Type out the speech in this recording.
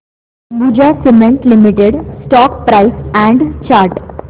Ambuja Cement Limited stock price and chart